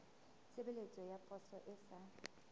tshebeletso ya poso e sa